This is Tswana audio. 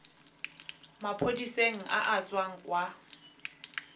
maphodiseng a a tswang kwa